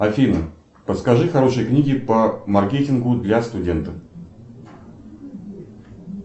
афина подскажи хорошие книги по маркетингу для студентов